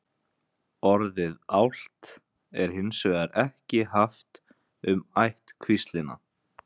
Orðið álft er hins vegar ekki haft um ættkvíslina.